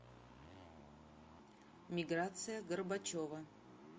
миграция горбачева